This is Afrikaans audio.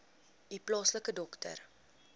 u plaaslike dokter